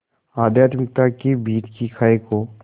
आध्यात्मिकता के बीच की खाई को